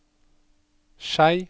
Skei